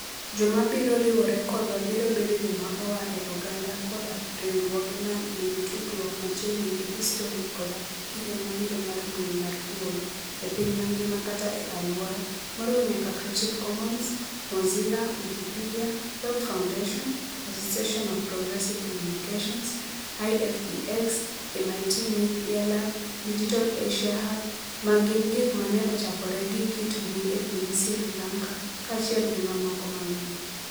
Joma biro riwore kodwa biro bedo joma oa e oganda koda riwruoge ma nigi tudruok machiegni gi histori koda kinde mabiro mar mbui mar thuolo, e piny mangima kata e alwora, moriwo nyaka Creative Commons, Mozilla, Wikipedia, Web Foundation, Association of Progressive Communications, IFEX, MIT Media Lab, Digital Asia Hub, ma gin gik ma ne ochakore gi kit mbui e piny Sri Lanka, kaachiel gi mamoko mang'eny.